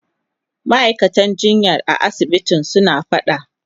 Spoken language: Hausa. Ma'aikatan jinya a asibitin suna fada.